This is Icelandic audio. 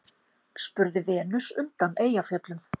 spurði Venus undan Eyjafjöllum.